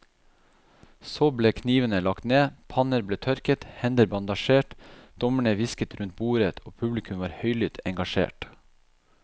Så ble knivene lagt ned, panner ble tørket, hender bandasjert, dommerne hvisket rundt bordet og publikum var høylytt engasjert.